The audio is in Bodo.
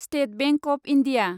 state Bank of India